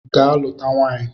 Ga luta nwaanyị!